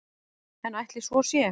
En ætli svo sé?